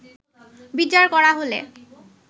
বিচার করা হলে